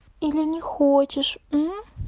или не хочешь